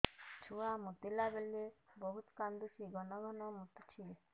ଛୁଆ ମୁତିଲା ବେଳେ ବହୁତ କାନ୍ଦୁଛି ଘନ ଘନ ମୁତୁଛି